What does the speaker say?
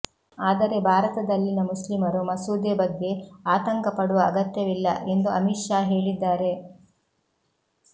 ಆದರೆ ಭಾರತದಲ್ಲಿನ ಮುಸ್ಲಿಮರು ಮಸೂದೆ ಬಗ್ಗೆ ಆತಂಕ ಪಡುವ ಅಗತ್ಯವಿಲ್ಲ ಎಂದು ಅಮಿತ್ ಶಾ ಹೇಳಿದ್ದಾರೆ